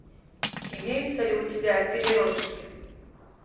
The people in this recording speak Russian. имеется ли у тебя переростки